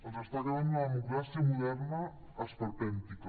els està quedant una democràcia moderna esperpèntica